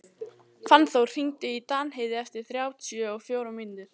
Fannþór, hringdu í Danheiði eftir þrjátíu og fjórar mínútur.